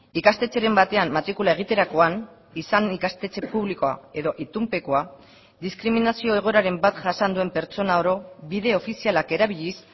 ikastetxeren batean matrikula egiterakoan izan ikastetxe publikoa edo itunpekoa diskriminazio egoeraren bat jasan duen pertsona oro bide ofizialak erabiliz